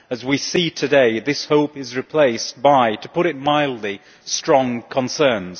As we see today, this hope has been replaced by, to put it mildly, strong concerns.